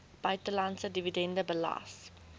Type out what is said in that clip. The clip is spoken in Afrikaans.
buitelandse dividende belas